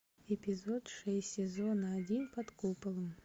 эпизод шесть сезона один под куполом